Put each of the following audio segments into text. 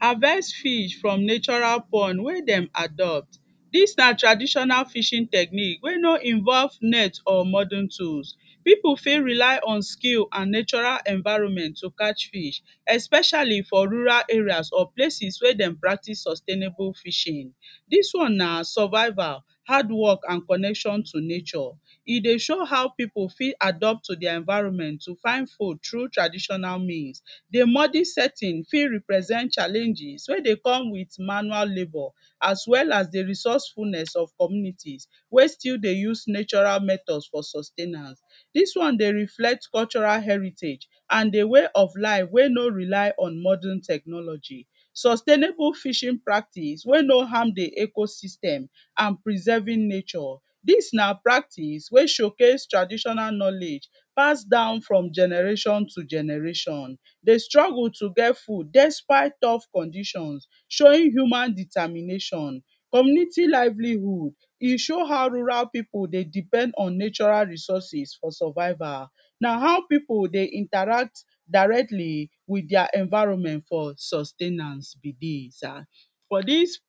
Harvest fish from natural pond wey dem adopt, dis na traditional fishing technique wey no involve net or modern tools, pipu fit rely on skill and natural environment to catch fish especially for rural areas or places wey dem practice sustainable fishing, dis one na survival, hardwork and connection to nature, e dey show how pipu fit adopt to dia environment to find food through traditional means, di modern setting fit represent challenges wey dey come with manual labour as well as di resourcefulness of community wey still dey use natural method for sustainance, dis one dey represent natural heritage and di way of life wey no rely on modern technology. Sustainable fishing practice wey no harm di ecosystem and preserving nature, dis na practice qey show case traditional knowledge pass from generation to generation dey struggle to get food despite tough condition showing human determination. Community livelihood, e show how rural pipu dey depend on natural resources for survival, na how pipu dey interact directly with dia environment for sustainance be dis, for dis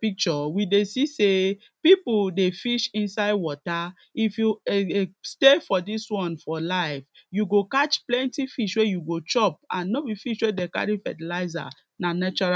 picture we dey see sey pipu dey fish inside water, if you stay for dis one for life you go catch plenty fish wey you go chop and no be fish wey dem carry fertiliser na natural.